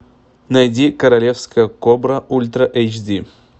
найди королевская кобра ультра эйч ди